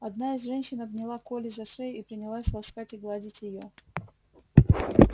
одна из женщин обняла колли за шею и принялась ласкать и гладить её